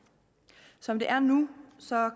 som det er nu